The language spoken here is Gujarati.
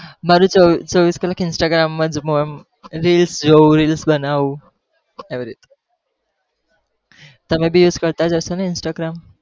મારું ચો ચોવીસ કલાક instagram મા જ reels જોવું reels બનાઉં એવી રીતે, તમે પણ use કરતા જ હશોને instagram